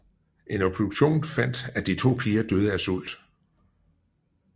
En obduktion fandt at de to piger døde af sult